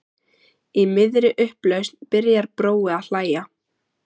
Í miðri upplausn byrjar Brói að hlæja.